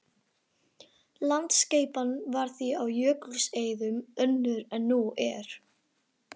Landaskipan var því á jökulskeiðum önnur en nú er.